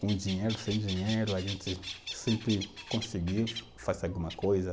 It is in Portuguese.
Com dinheiro, sem dinheiro, a gente sempre conseguiu fazer alguma coisa.